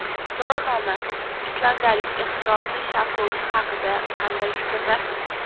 So‘rovnoma: Islandiyalik ehtirosli sharhlovchi haqida qanday fikrdasiz?.